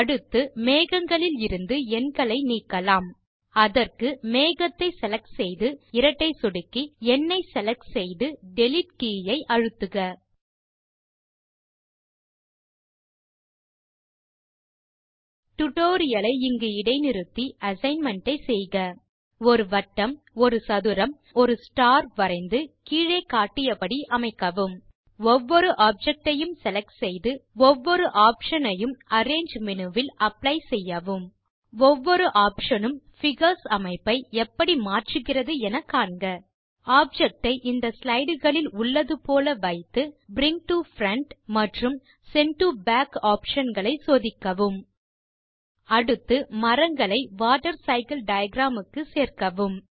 அடுத்து மேகங்களில் இருந்து எண்களை நீக்கலாம் அதற்கு மேகத்தை செலக்ட் செய்து இரட்டை சொடுக்கி எண்னை செலக்ட் செய்து டிலீட் கே ஐ கீபோர்ட் இல் அழுத்துக டியூட்டோரியல் ஐ இங்கு இடை நிறுத்தி அசைன்மென்ட் ஐ செய்க ஒரு வட்டம் ஒரு சதுரம் மற்றும் ஒரு ஸ்டார் வரைந்து கீழே காட்டியபடி அமைக்கவும் ஒவ்வொரு ஆப்ஜெக்ட் ஐயும் செலக்ட் செய்து ஒவ்வொரு ஆப்ஷன் ஐயும் அரேஞ்சு மேனு வில் அப்ளை செய்யவும் ஒவ்வொரு ஆப்ஷன் உம் பிகர்ஸ் அமைப்பை எப்படி மாற்றுகிறது என காண்க ஆப்ஜெக்ட் ஐ இந்த slideகளில் உள்ளது போல வைத்து பிரிங் டோ பிரண்ட் மற்றும் சென்ட் டோ பாக் ஆப்ஷன் களை சோதிக்கவும் அடுத்து மரங்களை வாட்டர் சைக்கிள் டயாகிராம் க்கு சேர்க்கவும்